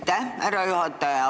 Aitäh, härra juhataja!